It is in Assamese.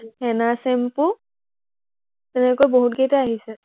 হেনা shampoo তেনেকৈ বহুতকেইটা আহিছে